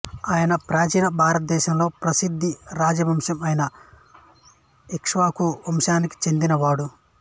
ఆయన ప్రాచీన భారతదేశంలో ప్రసిద్ధ రాజ వంశం అయిన ఇక్ష్వాకు వంశానికి చెందినవాడు